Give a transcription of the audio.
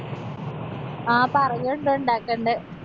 ആ പറയോണ്ട് ഉണ്ടാക്കണ്ട്.